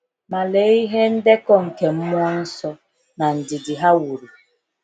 Ma lee ihe ndekọ nke mmụọ nsọ na ndidi ha wuru!